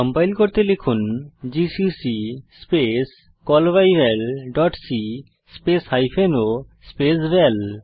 compile করতে লিখুন GCC space callbyvalসি স্পেস হাইফেন o স্পেস ভাল